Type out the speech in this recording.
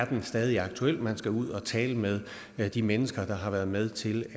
den stadig er aktuel man skal ud og tale med de mennesker der har været med til